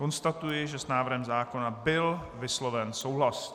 Konstatuji, že s návrhem zákona byl vysloven souhlas.